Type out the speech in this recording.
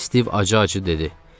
Stiv acı-acı dedi.